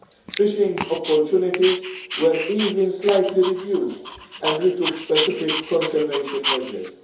Fishing opportunities were, in fact, slightly reduced and we took specific conservation measures.